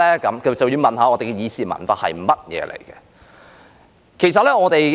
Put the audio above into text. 這便要問問究竟我們的議事文化是甚麼。